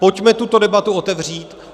Pojďme tuto debatu otevřít.